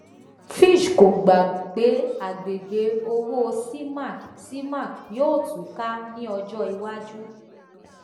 fitch kò gbà pé àgbègbè owó cemac cemac yóò tú ká ní ọjọ iwájú